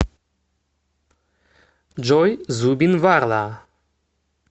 джой зубин варла